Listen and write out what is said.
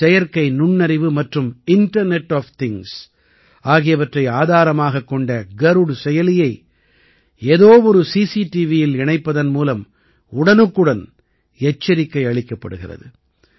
செயற்கை நுண்ணறிவு மற்றும் இன்டர்நெட் ஒஃப் திங்ஸ் ஆகியவற்றை ஆதாரமாகக் கொண்ட கருட் செயலியை ஏதோவொரு சிசிடிவியில் இணைப்பதன் மூலம் உடனுக்குடன் எச்சரிக்கை அளிக்கப்படுகிறது